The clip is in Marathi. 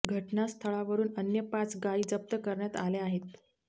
घटना स्थळावरून अन्य पाच गाई जप्त करण्यात आल्या आहेत